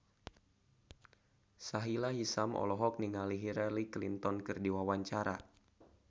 Sahila Hisyam olohok ningali Hillary Clinton keur diwawancara